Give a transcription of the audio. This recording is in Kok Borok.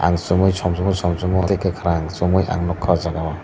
chumui somsamo samsamo tei kwkhwrang chumui ang nukha oh jagao.